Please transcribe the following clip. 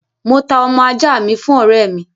Mo ta ọmọ ajá mi fún òré mi